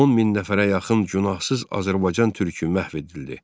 10 min nəfərə yaxın günahsız Azərbaycan türkü məhv edildi.